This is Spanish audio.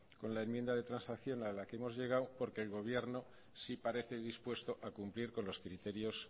con la enmienda de transacción a la que hemos llegado porque el gobierno si parece dispuesto a cumplir con los criterios